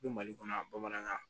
Bɛ mali kɔnɔ yan bamanankan